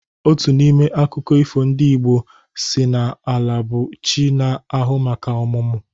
Otu n'ime akụkọ ifo ndị Igbo si n'Ala bụ chi na-ahụ maka ọmụmụ.